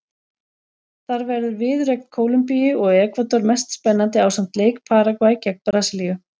Þar verður viðureign Kólumbíu og Ekvador mest spennandi ásamt leik Paragvæ gegn Brasilíu.